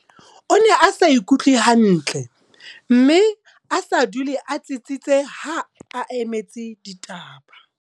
O ne a sa ikutlwe hantle mme a sa dule a tsitsitse ha a emetse ditaba.